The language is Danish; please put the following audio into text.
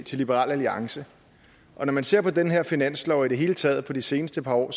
til liberal alliance og når man ser på den her finanslov og i det hele taget på de seneste par år